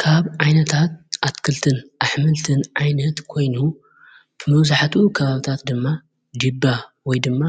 ካብ ዓይነታት ኣትክልትን ኣኅምልትን ዓይነት ኮይኑዩ ብምውዙሐቱ ከባብታት ድማ ዲባ ወይ ድማ